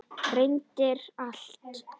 Reyndir allt.